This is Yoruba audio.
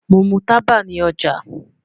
Mo mu taba ni oja